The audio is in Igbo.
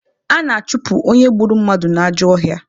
A na-achụpụ onye gburu mmadụ n'ajọ ọhịa.